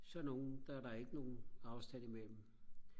så nogle der er der ikke nogen afstand i mellem